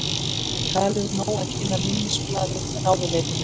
Talið nóg að kynna minnisblaðið ráðuneytinu